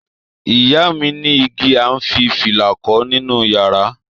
Iya mi ní igi à ń fi fìlà kọ́ nínú yàrá.